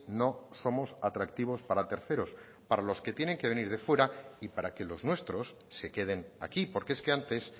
no somos atractivos para terceros para los que tienen que venir de fuera y para que los nuestros se queden aquí porque es que antes